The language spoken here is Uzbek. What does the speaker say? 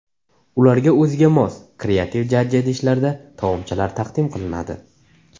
Ularga o‘ziga mos, kreativ jajji idishlarda taomchalar taqdim qilinadi.